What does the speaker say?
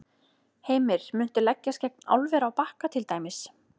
Heimir: Muntu leggjast gegn álveri á Bakka til dæmis?